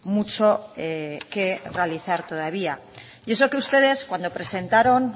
mucho que realizar todavía y eso que ustedes cuando presentaron